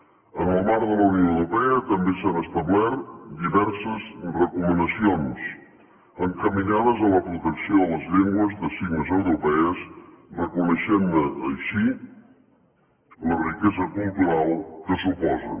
en el marc de la unió europea també s’han establert diverses recomanacions encaminades a la protecció de les llengües de signes europees reconeixent ne així la riquesa cultural que suposen